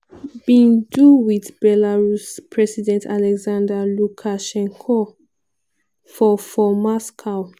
bin do wit belarus president alexander lukashenko for for moscow.